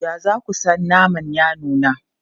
Ya za ku san naman ya nuna?